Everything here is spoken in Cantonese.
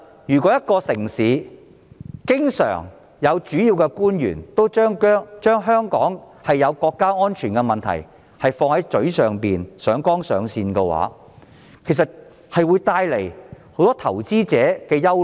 如果一個城市經常有主要官員把香港存在國家安全問題掛在嘴邊，上綱上線的話，便會令投資者感到憂慮。